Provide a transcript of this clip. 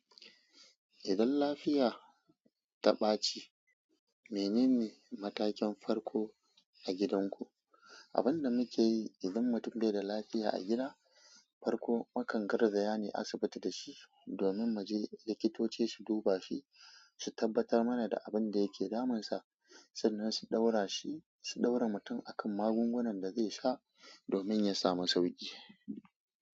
Idan lafiya ta ɓaci, menene matakin farko a gidanku? Abin da muke yi idan mutum bai da lafiya a gida, farko mu kan garzaya ne asibiti da shi domin mu je likitoci su duba shi, su tabbatar mana da abin da yake damunsa sannan su ɗaura shi, su ɗaura mutum akan magungunan da zai sha domin ya samu sauƙi.